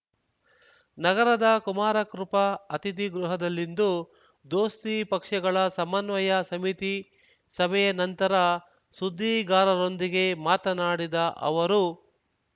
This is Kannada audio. ನಗರದ ಕುಮಾರಕೃಪ ಅತಿಥಿಗೃಹದಲ್ಲಿಂದು ದೋಸ್ತಿ ಪಕ್ಷಗಳ ಸಮನ್ವಯ ಸಮಿತಿ ಸಭೆಯ ನಂತರ ಸುದ್ದಿಗಾರರೊಂದಿಗೆ ಮಾತನಾಡಿದ ಅವರು